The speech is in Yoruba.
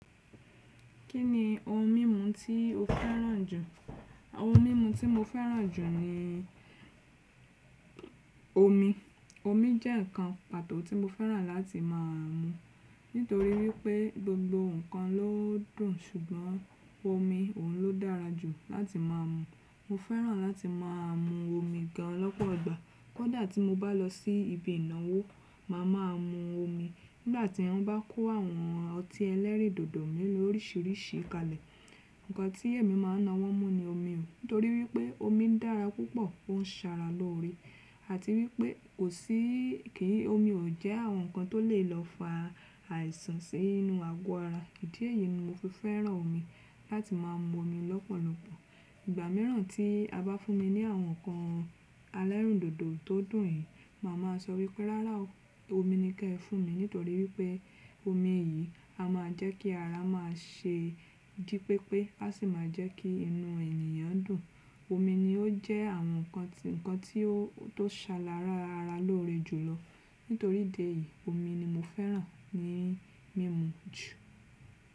Kí ni ohun mímu tí o fẹ́ràn jù? Ohun mímu tí mo fẹ́ràn jù ni omi. Omi jẹ́ ǹkan pàtó tí mo fẹ́ràn láti má a mu. Nítorí wípé gbogbo ǹkan ló dùn, ṣùgbọ́n omi òun ló dára jù láti má a mu. Mo fẹ́ràn láti má a mu omi gan lọ́pọ̀ ìgbà. Kódà tí mo bá lọ sí ibi ìnáwó, màá máa mu omi. Nígbà tí wọ́n bá kó àwọn ọtí ẹlẹ́rìndòdò mìíràn oríṣiríṣi kalẹ̀, ǹkan tí èmi máa ń na wọ́n mu ni omi. Nítorí wípé omi ń dára púpọ̀, ó ń ṣara lóore àti wípé ò sí, kí n, omi ò jẹ́ àwọn ǹkan tó lè lọ fa àìsàn sí inú àgọ́ ara. Ìdí èyí ni mo fi fẹ́ràn omi láti máa mu omi lọ́pọ̀lọpọ̀. Ìgbà mìíràn tí a bá fún mi ní àwọn ǹkan elẹ́rìndòdò tó dùn yìí, màá máa sọ wípé, rárá omi ni kí ẹ fún mi. Nítorí wípé omi yìí a máa jẹ́ kí ara máa ṣe jípépé, a sì máa jẹ́ kí inú ènìyàn dùn. Omi ni ó jẹ́ àwọn ǹkan tí, ǹkan tí ó tó ń ṣe ara lóore jùlọ. Nítorí ìdí èyí, omi ni mo fẹ́ràn ní mímu jù.